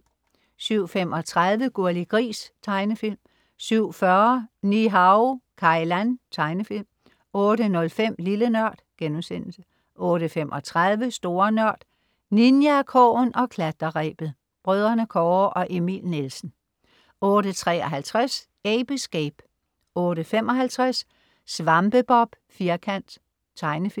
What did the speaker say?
07.35 Gurli Gris. Tegnefilm 07.40 Ni-Hao Kai Lan. Tegnefilm 08.05 Lille Nørd* 08.35 Store Nørd. Ninjakrogen og klatrerebet. Brødrene Kåre og Emil Nielsen 08.53 Ape Escape 08.55 SvampeBob Firkant. Tegnefilm